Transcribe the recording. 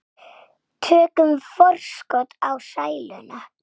Tökum forskot á sæluna.